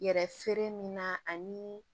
Yɛrɛ feere min na ani